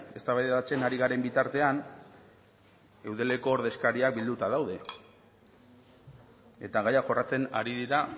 eztabaidatzen ari garen bitartean eudeleko ordezkariak bilduta daude eta gaia jorratzen ari dira